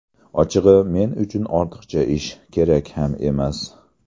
Ochig‘i, men uchun ortiqcha ish, kerak ham emas.